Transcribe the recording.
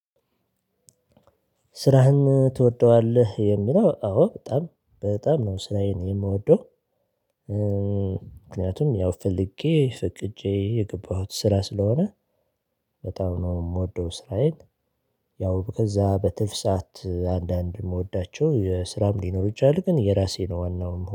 ስራህን ትወደዋለህ? የሚለው አዎ በጣም በጣም ነው ስራዬን የምወደው ምክንያቱም ያው ፍልጌ ፈቅጄ የገባሁት ስራ ስለሆነ በጣም ነው የምወደው ስራዬን። ያው ከዛ በትርፍ ሰዓት አንዳንድ የምወዳቸው ስራም ሊኖር ይችላል ግን የራሴ ነው ዋናውን